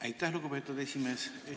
Aitäh, lugupeetud esimees!